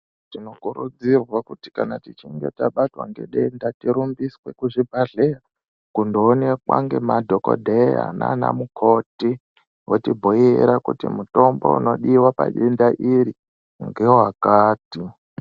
Tinokuredzirwa kuti kana tichinge tabatwa ngedenda tirumbiswe kuzvibhadhleya kundoonekwa ngemadhokodheya nanamukoti votibhuiira kuti mutombo unodiwa padenda iri ngewakati.